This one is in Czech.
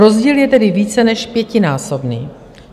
Rozdíl je tedy více než pětinásobný.